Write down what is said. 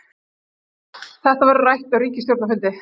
Þetta verður rætt á ríkisstjórnarfundi